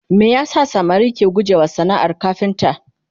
me yasa samari ke guje wa sanaar kafinta?